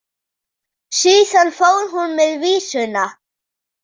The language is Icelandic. Síðan fór hún með vísuna.